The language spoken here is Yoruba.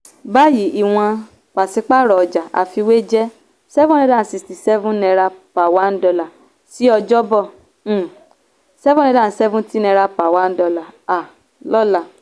báyìí ìwọ̀n pàṣípààrọ̀ ọjà àfiwé jẹ́ seven hundred and sixty one naira per dollar ní ọjọ́bọ̀ um seven hundred and seventy naira per dollar um lọ́la.